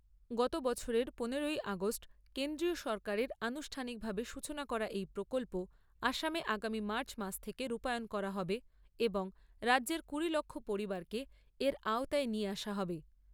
গত বছরের পনেরোই আগষ্ট কেন্দ্রীয় সরকারের আনুষ্ঠানিকভাবে সূচনা করা এই প্রকল্প আসামে আগামী মার্চ মাস থেকে রূপায়ন করা হবে এবং রাজ্যের কুড়ি লক্ষ পরিবারকে এর আওতায় নিয়ে আসা হবে।